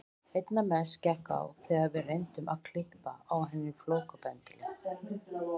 Einna mest gekk á þegar við reyndum að klippa á henni flókabendilinn.